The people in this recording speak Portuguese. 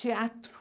Teatro.